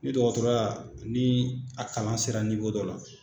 Ni dɔgɔtɔrɔya ni a kalan sera dɔ la.